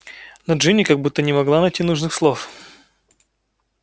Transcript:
но джинни как будто не могла найти нужных слов